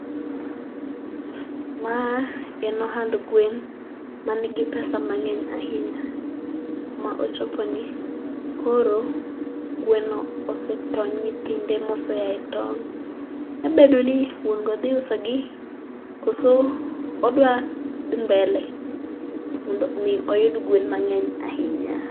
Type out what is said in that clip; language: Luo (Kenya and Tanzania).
Ma en ohand gwen man gi pesa mang'eny ahinya. Kuma ochopeni, koro gweno osee toyo nyithinde ma osea e tong' nyalo bedo ni wuon go dhi usogi koso odwa dhi cs]mbele mondo mi oyud gwen mang'eny ahinya.